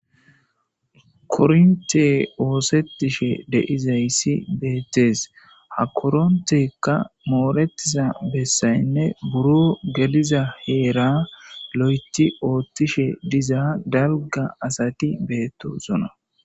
kornte oosetishe de'izayssi beettees ha koronteykka mooretiza bessaynne buro geliza heera lo7eti oottishe diza dalga asati beettosona